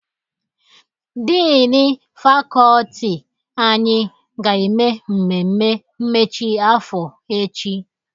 Diini fakọọti anyị ga-eme mmemme mmechi afọ echi.